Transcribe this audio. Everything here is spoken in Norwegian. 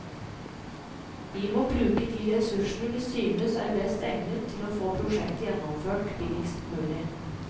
Vi må bruke de ressursene vi synes er best egnet til å få prosjektet gjennomført billigst mulig.